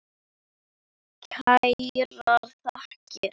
Kærar þakkir